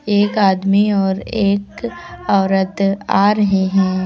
एक आदमी और एक औरत आ रहे है।